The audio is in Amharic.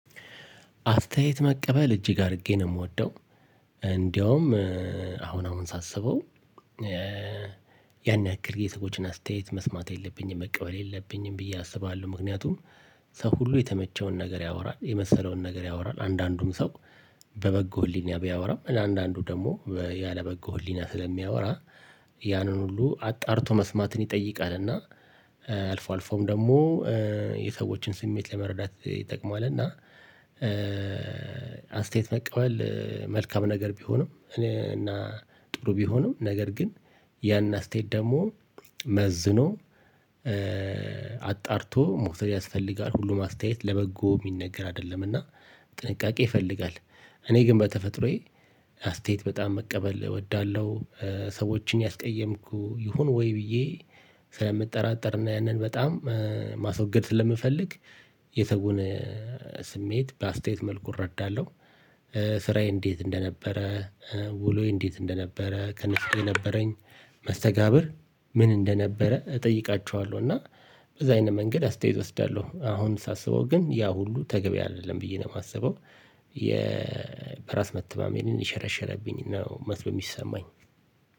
አስተያየት መቀበል እጅግ አድርጌ ነው የምወደው። እንደውም አሁን አሁን ሳስበው ያን ያክል የሰዎችን አስተያየት መስማት የለብኝም መቀበል የለብኝም ብዬ አስባለሁ። ምክንያቱም ሰው ሁሉ የተመቸውን ነገር ያወራ፣ የመሰለውን ነገር ያወራል፣ አንዳንዱም ሰው በበጎ ህሊና ቢያወራም አንዳንዱ ደግሞ ያለበጎ ህሊና ስለሚያወራ ያንን ሁሉ አጣርቶ መስማትን ይጠይቃል እና አልፎ አልፎም ደግሞ የሰዎችን ስሜት ለመረዳት ይጠቅማል እና አስተያየት መቀበል መልካም ነገር ቢሆንም እና ጥሩ ቢሆንም ነገር ግን ያን አስተያየት ደግሞ መዝኖ አጣርቶ መውሰድ ያስፈልጋል። ሁሉም አስተያየት ለበጎ የሚነገር አይደለምና ጥንቃቄ ይፈልጋል። እኔ ግን በተፈጥሮዬ አስተያየት በጣም መቀበል እወዳለሁ። ሰዎችን ያስቀየምኩ ይሁን ወይ ብዬ ስለምጠራጠር እና ያንን በጣም ማስወገድ ስለምፈልግ የሰውን ስሜት በአስተያየት መልኩ እረዳለሁ። ስራዬ እንዴት እንደነበረ፣ ውሎዬ እንዴት እንደነበረ ከነሱ ጋር የነበረኝ መስተጋብር ምን እንደነበረ እጠይቃቸዋለው። እና በዛ አይነት መንገድ አስተያየት እወስዳለሁ። አሁን ሳስበው ግን ያ ሁሉ ተገቢ አይደለም ብዬ ነው የማስበው። የ በራስ መተማመኔን የሸረሸረብኝ መስሎ ነው የሚሰማኝ።